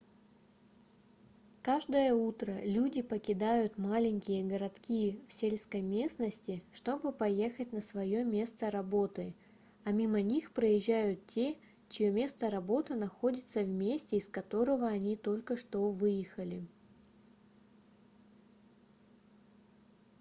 каждое утро люди покидают маленькие городки в сельской местности чтобы поехать на свое место работы а мимо них проезжают те чье место работы находится в месте из которого они только что выехали